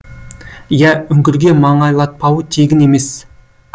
иә үңгірге маңайлатпауы тегін емес